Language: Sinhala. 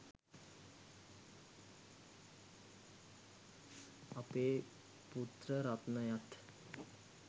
අපේ පුත්‍ර රත්නයත්